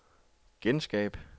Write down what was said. genskab